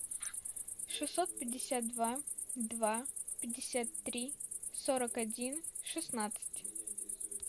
шестьсот пятьдесят два два пятьдесят три сорок один шестнадцать